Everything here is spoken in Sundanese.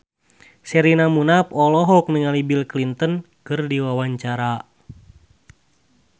Sherina Munaf olohok ningali Bill Clinton keur diwawancara